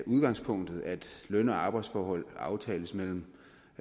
udgangspunktet er at løn og arbejdsforhold aftales mellem